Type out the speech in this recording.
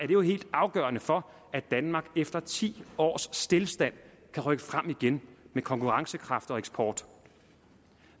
jo helt afgørende for at danmark efter ti års stilstand kan rykke frem igen med konkurrencekraft og eksport